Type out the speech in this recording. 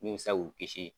Min bɛ se k'u kisi